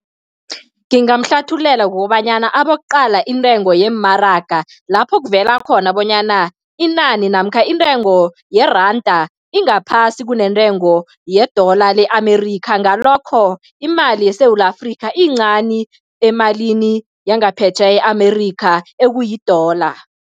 Ngingamhlathululela ngokobanyana abokuqala intengo yeemaraga, lapho kuvela khona bonyana inani namkha intengo yeranda ingaphasi kunentengo ye-dollar le-America, ngalokho imali yeSewula Afrika iyincani emalini yangaphetjheya e-America, ekuyi-dollar.